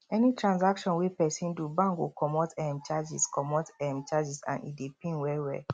any transaction wey persin do bank go comot um charges comot um charges and e dey pain well well